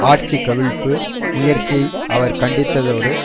ஆட்சி கவிழ்ப்பு முயற்சியை அவர்கள் கண்டித்ததோடு